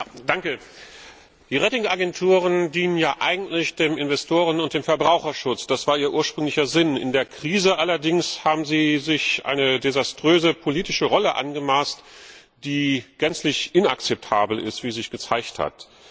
Herr Präsident! Die Ratingagenturen dienen eigentlich den Investoren und dem Verbraucherschutz. Das war ihr ursprünglicher Sinn. In der Krise allerdings haben sie sich eine desaströse politische Rolle angemaßt, die gänzlich inakzeptabel ist, wie sich gezeigt hat.